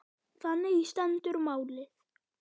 Þannig stendur málið.